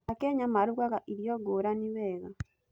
Akenya marugaga irio ngũrani wega.